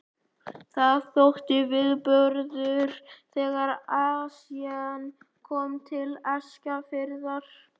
Það þótti viðburður þegar Esjan kom til Eskifjarðar.